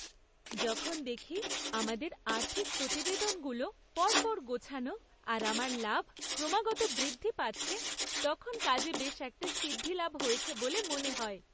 যখন দেখি আমাদের আর্থিক প্রতিবেদনগুলো পর পর গোছানো আর আমার লাভ ক্রমাগত বৃদ্ধি পাচ্ছে, তখন কাজে বেশ একটা সিদ্ধিলাভ হয়েছে বলে মনে হয়।